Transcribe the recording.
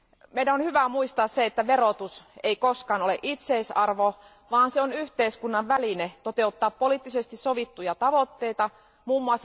Meidän on hyvä muistaa, että verotus ei koskaan ole itseisarvo, vaan se on yhteiskunnan väline toteuttaa poliittisesti sovittuja tavoitteita, mm.